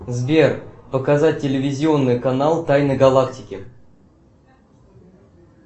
сбер показать телевизионный канал тайны галактики